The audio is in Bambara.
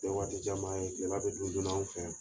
o tɛ waatijanba ye gɛlɛya dɔ tun donna an fɛ yan.